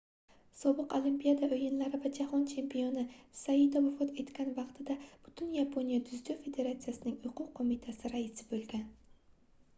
sobiq olimpiada oʻyinlari va jahon chempioni saito vafot etgan vaqtida butun yaponiya dzyudo federatsiyasining oʻquv qoʻmitasi raisi boʻlgan